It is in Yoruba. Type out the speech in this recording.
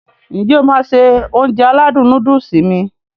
N jẹ́ o máá se Ounjẹ aládùn nóódùsì mi?